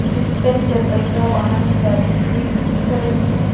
जिसपे चरपहिया वाहन जाती हुई दिख रही है।